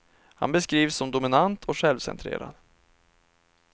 Han beskrivs som dominant och självcentrerad.